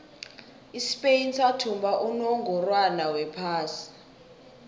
ispain sathumba unongorwond wephasi